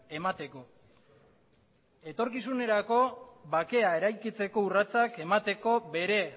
emateko etorkizunerako bakea eraikitzeko urratsak emateko bere